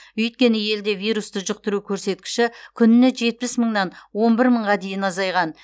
өйткені елде вирусты жұқтыру көрсеткіші күніне жетпіс мыңнан он бір мыңға дейін азайған